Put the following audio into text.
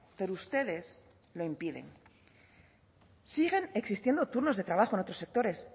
pero ustedes lo impiden siguen existiendo turnos de trabajo en otros sectores